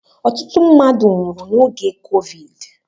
Ọtụtụ mmadụ nwụrụ n'oge Covid